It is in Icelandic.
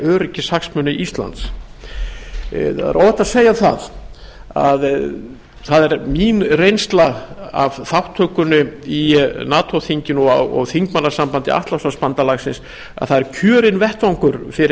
öryggishagsmuni íslands það er óhætt að segja að það er mín reynsla af þátttökunni í nato þinginu og þingmannasambandi atlantshafsbandalagsins að það er kjörinn vettvangur fyrir smáþjóð